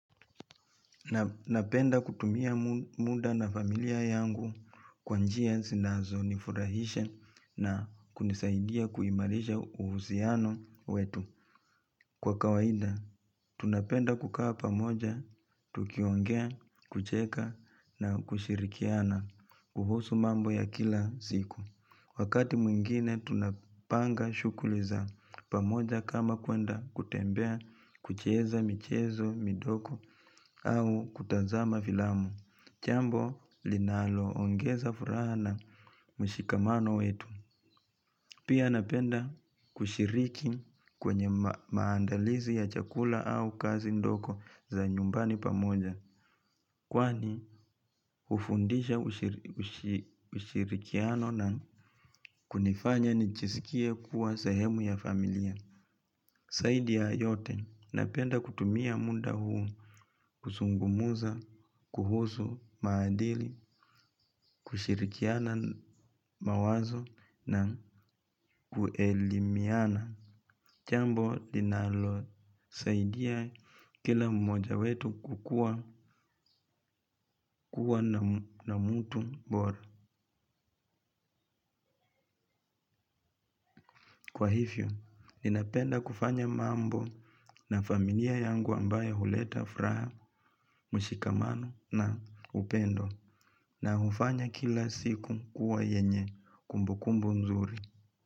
Napenda kutumia muda na familia yangu kwa njia zinazo nifurahisha na kunisaidia kuimarisha uhusiano wetu. Kwa kawaida, tunapenda kukaa pamoja, tukiongea, kucheka na kushirikiana, kuhusu mambo ya kila siku. Wakati mwingine tunapanga shughuli za pamoja kama kuenda kutembea kucheza michezo, midogo au kutazama filamu. Jambo linalo ongeza furaha na mshikamano wetu. Pia napenda kushiriki kwenye maandalizi ya chakula au kazi ndoko za nyumbani pamoja. Kwani hufundisha ushirikiano na kunifanya nijisikie kuwa sehemu ya familia zaidi ya yote napenda kutumia muda huu kuzungumza, kuhusu, maadili, kushirikiana mawazo na kuelimiana jambo linalosaidia kila mmoja wetu kukua na mtu bora. Kwa hivyo, ninapenda kufanya mambo na familia yangu ambayo huleta furaha, mshikamano na upendo na hufanya kila siku kuwa yenye kumbukumbu nzuri.